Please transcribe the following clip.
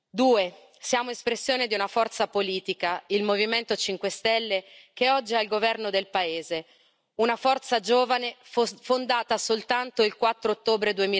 Due, siamo espressione di una forza politica, il Movimento 5 Stelle, che oggi è al governo del paese, una forza giovane fondata soltanto il 4 ottobre